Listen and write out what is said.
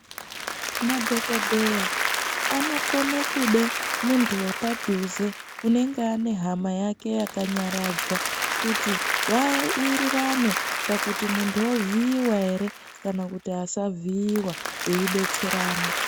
Madhokodheya anokona kuda muntu wepadhuze unenge ane hama yake yakanyaradzwa kuti vawirirane pakuti muntu ovhiiwa here kana kuti asavhiiwa veidetserana.